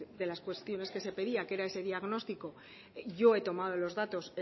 de las cuestiones que se pedía que era ese diagnóstico yo he tomado los datos